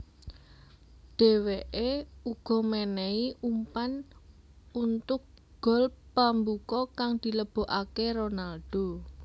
Dèwèké uga mènèhi umpan untuk gol pambuka kang dilebokaké Ronaldo